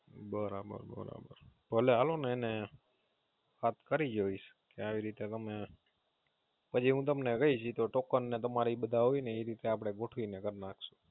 ભલે હલો ને એને વાત કરી જોઈશ એને આવી રીતે, પછી હું તમને કાઈશ પછી Token ને બધું હોય જે રીતે આપડે ગોઠવી ને કરી નાખસુ